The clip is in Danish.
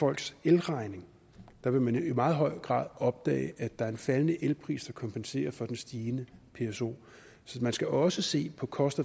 folks elregning at der vil man i meget høj opdage at der er en faldende elpris der kompenserer for den stigende pso så man skal også se på cost